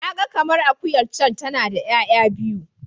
Na ga kamar akuyar can tana da 'ya'ya biyu.